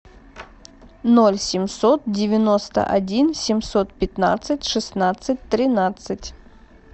ноль семьсот девяносто один семьсот пятнадцать шестнадцать тринадцать